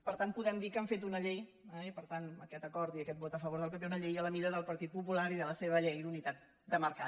per tant podem dir que han fet una llei i per tant aquest acord i aquest vot a favor del pp a la mida del partit popular i de la seva llei d’unitat de mercat